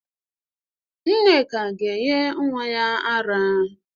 Nneka ga-enye nnwa ya ara.